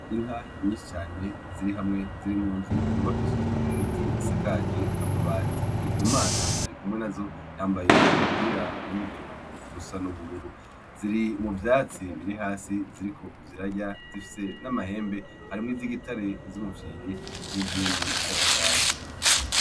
Inka nyinshi cane ziri hamwe ziri mu nzu yubakishije ibiti isakaje amabati. Ndikumana arikumwe nazo yambaye umupira urimwo uturongo dusa n'ubururu. Ziri mu vyatsi biri hasi ziriko zirarya, zifise n'amahembe. Harimwo iz'igitare, iz'umufyiri n'izindi z'akagajo.